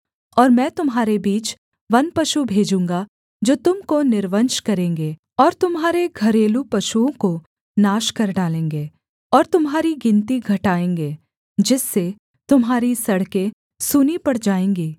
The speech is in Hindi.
और मैं तुम्हारे बीच वन पशु भेजूँगा जो तुम को निर्वंश करेंगे और तुम्हारे घरेलू पशुओं को नाश कर डालेंगे और तुम्हारी गिनती घटाएँगे जिससे तुम्हारी सड़कें सूनी पड़ जाएँगी